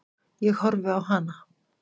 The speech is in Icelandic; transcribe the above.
Ég horfi á hana.